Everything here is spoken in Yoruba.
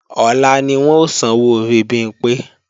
Ọ̀la ni wọ́n ó sanwó orí Bimpé